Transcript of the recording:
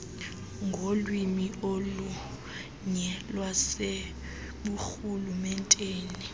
ngolwimi olunye lwaseburhulumenteni